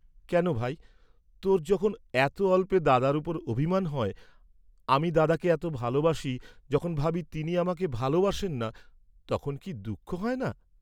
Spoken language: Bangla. কেন ভাই, তোর যখন এত অল্পে দাদার উপর অভিমান হয়, আমি দাদাকে এত ভালবাসি যখন ভাবি তিনি আমাকে ভালবাসেন না, তখন কি দুঃখ হয় না?